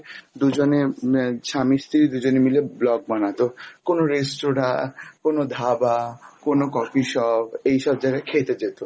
দুজনে আহ স্বামী স্ত্রী, দুজনে মিলে blog বানাতো, কোন রেস্তোরাঁ কোনো ধাবা কোনো coffee shop এইসব জায়গায় খেতে যেত